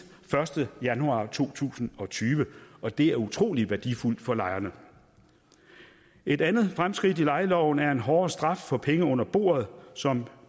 første januar to tusind og tyve og det er utrolig værdifuldt for lejerne et andet fremskridt i lejeloven er en hårdere straf for penge under bordet som